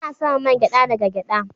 Ana samun man gyada daga gyada.